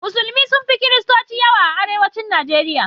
Musulmai sun fi kiristoci yawa a arewacin Nijeriya.